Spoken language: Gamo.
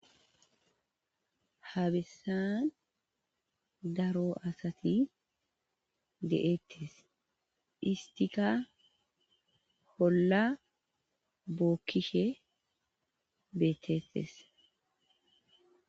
habesan daro asati de7ettes istika holla bookkishe beettettes